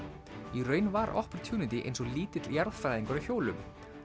í raun var Opportunity eins og lítill jarðfræðingur á hjólum